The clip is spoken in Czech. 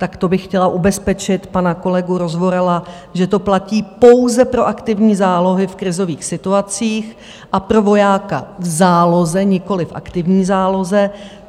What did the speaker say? Tak to bych chtěla ubezpečit pana kolegu Rozvorala, že to platí pouze pro aktivní zálohy v krizových situacích a pro vojáka v záloze, nikoliv v aktivní záloze.